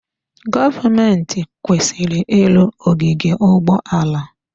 Gọọmentị kwesịrị ịrụ ogige ụgbọala.